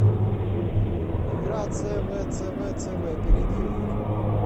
игра цвцвцв перейди в